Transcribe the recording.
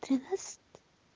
тринацать